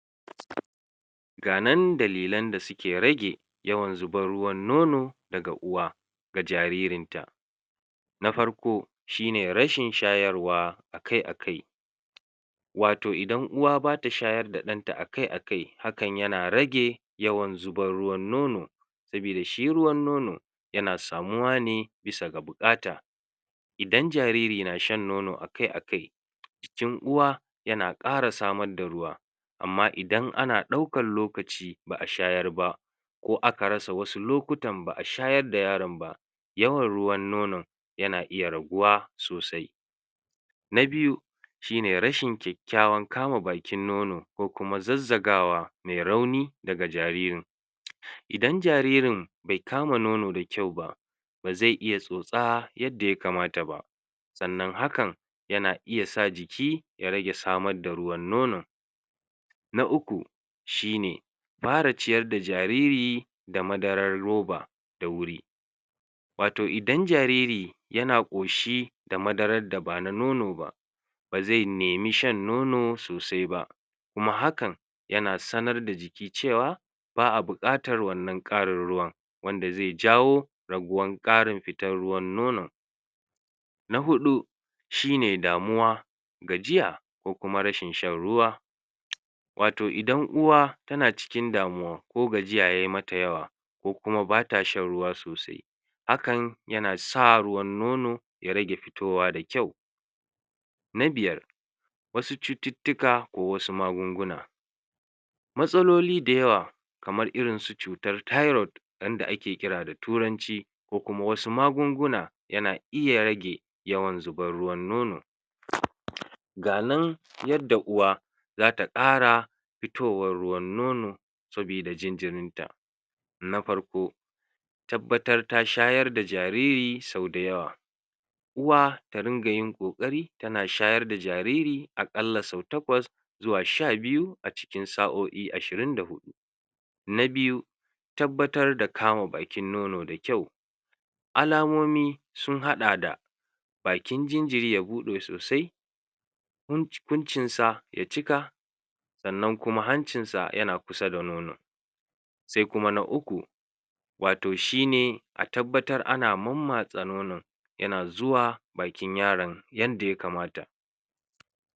ga nan dalilan da suke rage yawan zubar ruwan nono daga uwa ga jaririn ta na farko shine rashin shayarwa akai akai wato idan uwa bata shayar da ɗanta akaiakai hakan yana rage yawan zubar ruwan nono sabida shi ruwan nono yana samuwa ne bisa ga buƙata idan jariri na shan nono akai akai jikin uwa yana ƙara samar da ruwa amma idan ana ɗaukan lokaci ba'a shayar ba ko aka rasa wasu lokutan ba'a shayar da yaron ba yawan ruwan nonon yana iya raguwa sosai na biyu shine rashi kyakkyawan kama bakin nono ko kuma zazzagawa me rauni daga jaririn idan jaririn be kama nono da kyau ba baze iya tsotsa yanda ya kamata ba sannan hakan yana iya sa jiki ya rage samar da ruwan nonon na uku shine fara ciyar da jariri da madarar roba da wuri wato idan jariri yana ƙoshi da madarar da ba na nono ba baze nemi shan nono sosai ba kuma hakan yana sanar da jiki cewa ba'a buƙatar wannan ƙarin ruwan wanda ze jawo raguwan ƙarin fitar ruwan nonon na huɗu shine damuwa gajiya ko kuma rashin shan ruwa wato idan uwa tana cikin damuwa ko gajiya yayi mata yawa ko kuma bata shan ruwa sosai hakan yana sa ruwan nono ya rage fitowa da kyau na biyar wasu cututtuka wasu magunguna matsaloli da yawa kamar irin su cutar tairut wanda ake kira da turanci ko kuma wasu magunguna yana iya rage yawan zabar ruwan nono ga nan yadda uwa zata ƙara fitowar ruwan nono sabida jinjirin ta na farko tabbatar ta shayar da jariri da yawa uwa ta ringa yin ƙoƙari tana shayar da jariri a ƙalla so takwas zuwa sha biyu a cikin sa'o'i ashirin da huɗu na biyu tabbatar da kama bakin nono da kyau alamomi sun haɗa da bakin jinjiri ya buɗe sosai kunci kuncinsa ya cika sannan kuma hancinsa yana kusa da nonon se kuma na uku wato shine a tabbatar ana mammatsa nonon yana zuwa bakin yaron yanda ya kamata